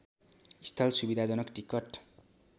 स्थल सुविधाजनक टिकट